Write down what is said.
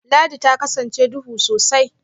Ladi ta kasance duhu sosai